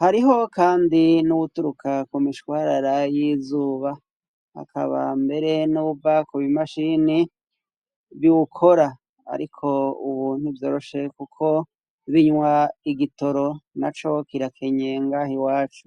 hariho kandi n'uwuturuka kumishwarara y'izuba, hakaba mbere nuwuva kubimashini biwukora ariko ubu ntivyoroshe kuko binywa igitoro naco kirakenye ngaha iwacu.